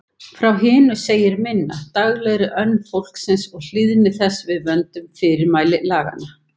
Frá hinu segir minna: daglegri önn fólksins og hlýðni þess við vönduð fyrirmæli laganna.